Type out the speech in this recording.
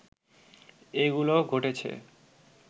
এগুলো ঘটেছে